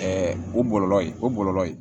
o bɔlɔlɔ ye o bɔlɔlɔ ye